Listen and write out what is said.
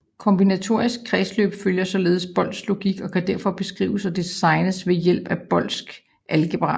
Kombinatoriske kredsløb følger således Boolsk logik og kan derfor beskrives og designes ved hjælp af Boolsk algebra